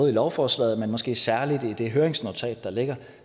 i lovforslaget men måske særligt i det høringsnotat der ligger